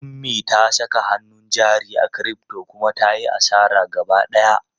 Ummi ta saka hannun jari a crypto kuma ta yi asara gaba ɗaya.